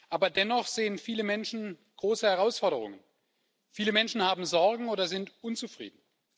Aber dennoch sehen viele Menschen große Herausforderungen, viele Menschen haben Sorgen oder sind unzufrieden.